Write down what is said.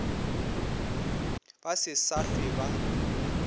ba se sa hlwe ba